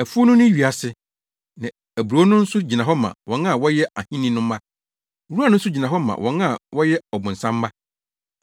Afuw no ne wiase, na aburow no nso gyina hɔ ma wɔn a wɔyɛ Ahenni no mma; nwura no nso gyina hɔ ma wɔn a wɔyɛ ɔbonsam mma.